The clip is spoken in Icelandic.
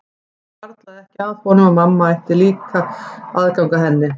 Það hvarflaði ekki að honum að mamma ætti að eiga aðgang að henni líka.